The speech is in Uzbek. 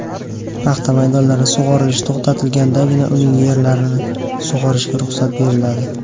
Paxta maydonlari sug‘orilishi to‘xtatilgandagina uning yerlarini sug‘orishiga ruxsat beriladi.